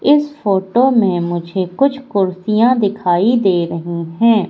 इस फोटो में मुझे कुछ कुर्सियां दिखाई दे रही हैं।